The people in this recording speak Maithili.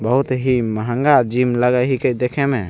बहुत ही महँगा जिम लगा हई के देखे में।